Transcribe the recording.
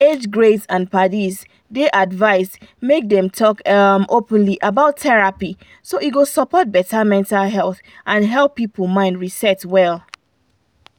age grades and padis dey advised make dem talk um openly about therapy so e go support better mental health and help people mind rest well.